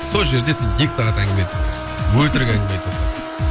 сол жерде сен екі сағат әңгіме айтып отырасың өтірік әңгіме айтып отырасың